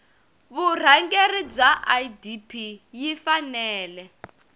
vurhangeri bya idp yi fanele